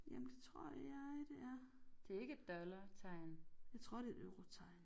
Jamen det tror jeg det er. Jeg tror det et eurotegn